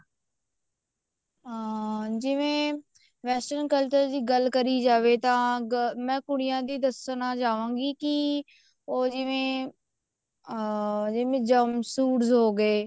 ਹਾਂ ਜਿਵੇਂ western culture ਦੀ ਗੱਲ ਕਰੀ ਜਾਵੇ ਤਾਂ ਮੈਂ ਕੁੜੀਆਂ ਦੀ ਦੱਸਣਾ ਚਾਵਾਂ ਗਈ ਕੀ ਉਹ ਜਿਵੇਂ ਅਮ ਜਿਵੇਂ suits ਹੋਗੇ